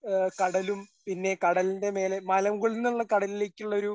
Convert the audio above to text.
ആ കടലും പിന്നെ കടലിന്റെ മേലെ മലമുകളിൽ നിന്നുള്ള കടലിൽക്കുള്ളൊരു